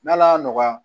N'ala y'a nɔgɔya